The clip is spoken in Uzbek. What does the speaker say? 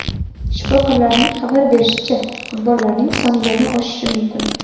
Shifokorlarning xabar berishicha, qurbonlarning soni yana oshishi mumkin.